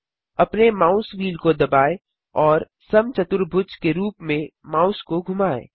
अपने mouse wheel को दबाएँ और समचतुर्भुज के रूप में माउस को घुमाएँ